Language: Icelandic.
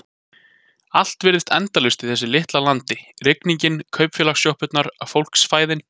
Allt virtist endalaust í þessu litla landi: rigningin, kaupfélagssjoppurnar, fólksfæðin.